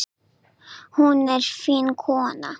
Hún er fín kona.